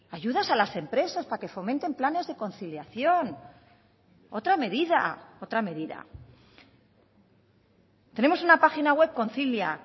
ayudas a las empresas para que fomenten planes de conciliación otra medida otra medida tenemos una página web concilia